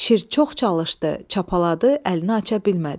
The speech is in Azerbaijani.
Şir çox çalışdı, çapalaadı, əlini aça bilmədi.